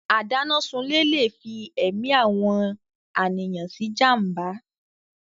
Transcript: Adánásunlé Le fí èmi àwọn àníyàn sí jàmbá.